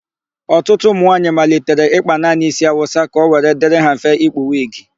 Ọtụtụ ụmụnwaayị malitere ịkpa naanị ísí Awụsa ka ọ were dịrị ha mfe ikpu wigi.